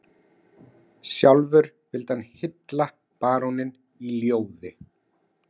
Sjálfur vildi hann hylla baróninn í ljóði